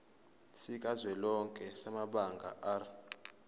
sikazwelonke samabanga r